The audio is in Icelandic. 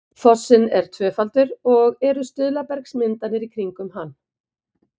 fossinn er tvöfaldur og eru stuðlabergsmyndanir í kringum hann